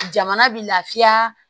Jamana bɛ lafiya